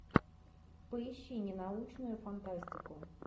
поищи ненаучную фантастику